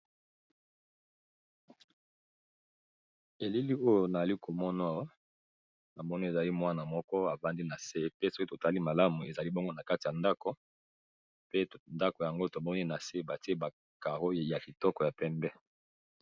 Elili oyo nali komono na moni ezali mwana moko afandi na se, pe soki totali malamu ezali bongo na kati ya ndako, pe ndako yango tomoni na se batie ba carreau ya kitoko ya pembe.